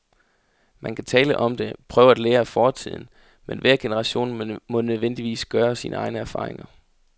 Man kan tale om det, prøve at lære af fortiden, men hver generation må nødvendigvis gøre sine egne erfaringer.